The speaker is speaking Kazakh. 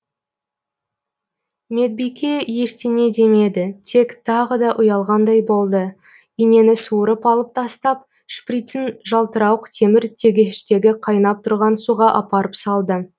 медбике ештеңе демеді тек тағы да ұялғандай болды инені суырып алып тастап шприцын жалтырауық темір тегештегі қайнап тұрған суға апарып салды